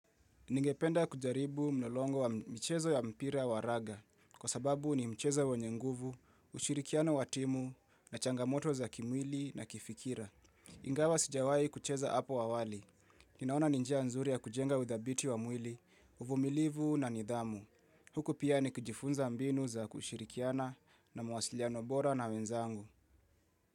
Ningependa kujaribu mlolongo wa mchezo ya mpira wa raga kwa sababu ni mchezo wenye nguvu, ushirikiano wa timu na changamoto za kimwili na kifikira. Ingawa sijawahi kucheza hapo awali. Ninaona ni njia nzuri ya kujenga udhabiti wa mwili, uvumilivu na nidhamu. Huku pia ni kujifunza mbinu za kushirikiana na mawasiliano bora na wenzangu.